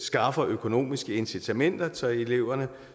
skaffer økonomiske incitamenter til eleverne